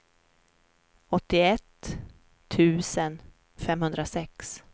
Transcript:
åttioett tusen femhundrasex